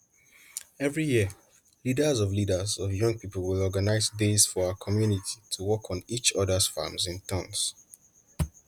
every year leaders of leaders of young people will organize days for our community to work on each others farms in turns